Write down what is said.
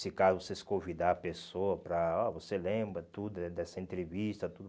Se caso vocês convidar a pessoa para ó... Você lembra tudo des dessa entrevista, tudo.